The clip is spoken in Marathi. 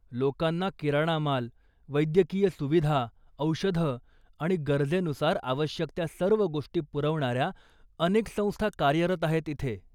लोकांना किराणा माल, वैद्यकीय सुविधा, औषधं आणि गरजेनुसार आवश्यक त्या सर्व गोष्टी पुरवणाऱ्या अनेक संस्था कार्यरत आहेत इथे.